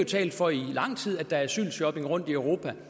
talt for i lang tid at der er asylshopping rundtomkring